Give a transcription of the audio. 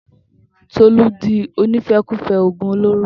Tolú di onífẹkufẹ ògùn olóró